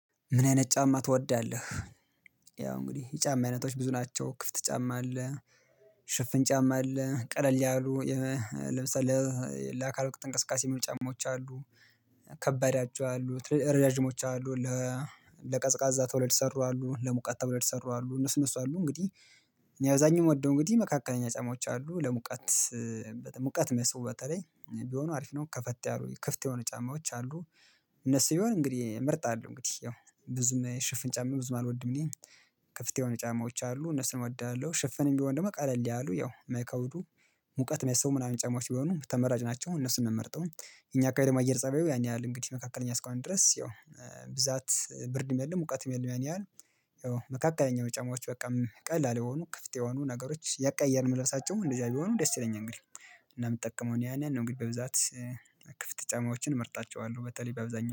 ምን አይነት ጫማ ትወዳለህ? ያው እንግዲህ የጫማ አይነቶች ብዙ ናቸው ክፍት ጫማ አለ። ሽፍን ጫማ አለ ቀለል ያሉ የ ለምሳሌ ለአካል ወቅት እንቅስቃሴ የሚሆኑ ጫማዎች አሉ። ከባድ አቸው አሉ ረዣዥሞች አሉ ለ ለቀዝቃዛ ተብለው የተሰሩ አሉ ለሙቀት ተብለው የተሰሩ አሉ። እነሱ እነሱ አሉ እንግዲህ እኔ አብዛኛውን ምወደው እንግዲህ መካከለኛ ጫማዎች አሉ ለሙቀት ሙቀት ሚስቡ በተለይ ቢሆኑ አሪፍ ነው። ከፈት ያሉ ክፍት የሆኑ ጫማዎች አሉ። እነሱ ቢሆን እንግዲህ እመርጣለሁ እንግዲህ ያው ብዙም ሽፍን ጫማ ብዙም አልወድም እኔ ከፍት የሆነ ጫማዎች አሉ እነሱን እወዳለሁ። ሽፍንም ቢሆን ደግሞ ቀለል ያሉ ያው ማይከብዱ ሙቀት ማይስቡ ምናምን ጫማዎች ቢሆኑ ተመራጭ ናቸው እነሱን ነው ምመርጠው። እኛ አካባቢ ደግሞ አየር ፀባዩ ያን ያህል እንግዲህ መካከለኛ እስከሆነ ድረስ ያው ብዛት ብርድም የለም ሙቀትም የለም። ያን ያህል መካከለኛው ጫማዎች በቃም ቀላል የሆኑ ክፍት የሆኑ ነገሮች እያቀያየርን ምንለብሳቸው እንደዚያ ቢሆኑ ደስ ይለኛል እንግዲህ እና የምጠቀመው እኔ ያንን ነው። እንግዲህ በብዛት ክፍት ጫማዎችን እመርጣቸዋለሁ በተለይ በአብዛኛው